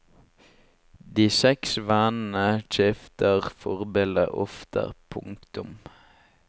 De seks vennene skifter forbilder ofte. punktum